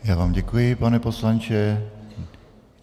Já vám děkuji, pane poslanče.